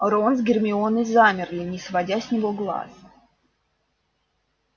рон с гермионой замерли не сводя с него глаз